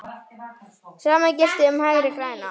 Sama gilti um Hægri græna.